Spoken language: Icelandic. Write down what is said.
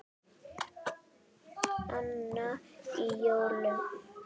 Annan í jólum.